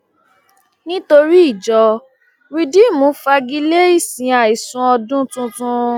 nítorí ìjọ rìdììmù fagi lé ìsìn àìsùnọdún tuntun